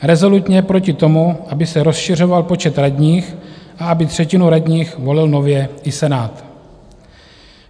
rezolutně proti tomu, aby se rozšiřoval počet radních a aby třetinu radních volil nově i Senát.